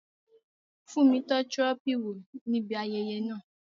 Fúnmi tọ́ Trophy wò ní ibi ayẹyẹ náà